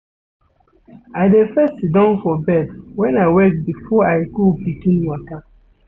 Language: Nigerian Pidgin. I dey first siddon for bed wen I wake before I go begin waka.